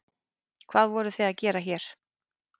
Hvað voruð þið að gera hér?